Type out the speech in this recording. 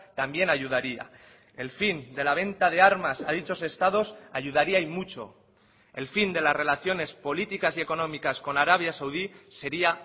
también ayudaría el fin de la venta de armas a dichos estados ayudaría y mucho el fin de las relaciones políticas y económicas con arabia saudí sería